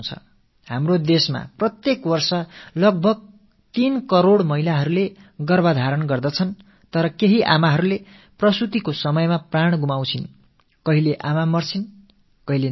ஒவ்வொரு ஆண்டும் நம் நாட்டில் சுமார் 3 கோடி பெண்கள் கர்ப்பம் தரிக்கிறார்கள் ஆனால் சில தாய்மார்கள் பிள்ளைப்பேற்றின் போது இறக்கிறார்கள் சில சிசுக்கள் பிரசவத்தின் போது மரிக்கின்றன